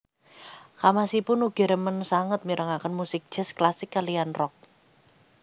Kamasipun ugi remen sanget mirengaken musik jazz klasik kaliyan rock